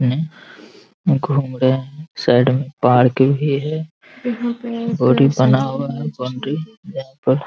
में घूम रहे हैं साइड में पार्क भी है बड़ी बना हुआ है बाउंड्री यहाँ पर |